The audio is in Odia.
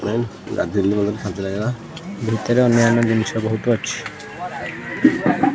ମେନ୍ ଗାଧେଇଲି ମତେ ଶାନ୍ତି ଲାଗିଲା ଭିତରେ ଅନ୍ୟାନ ଜିନିଷ ବହୁତୁ ଅଛି।